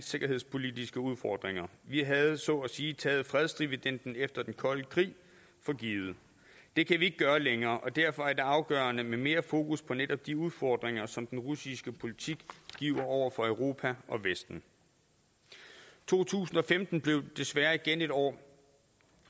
sikkerhedspolitiske udfordringer vi havde så at sige taget fredsdividenden efter den kolde krig for givet det kan vi ikke gøre længere og derfor er det afgørende med mere fokus på netop de udfordringer som den russiske politik giver over for europa og vesten to tusind og femten blev desværre et år